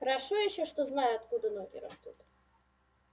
хорошо ещё что знаю откуда ноги растут